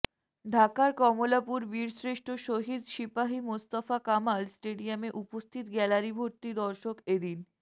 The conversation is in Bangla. ঢাকার কমলাপুর বীরশ্রেষ্ঠ শহীদ সিপাহী মোস্তফা কামাল স্টেডিয়ামে উপস্থিত গ্যালারি ভর্তি দর্শক এ দিন